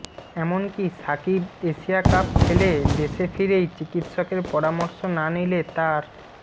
এমনকি Shakib Asia cup ফেলে দেশে ফিরেই চিকিৎসকের পরামর্শ না নিলে তার